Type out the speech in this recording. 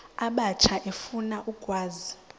abatsha efuna ukwazi